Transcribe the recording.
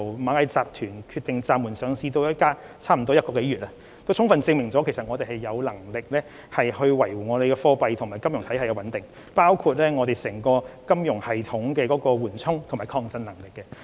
螞蟻集團決定暫緩上市至今，已經超過1個月，事件充分證明我們有能力維護貨幣和金融體系的穩定，反映香港金融系統的緩衝和抗震能力。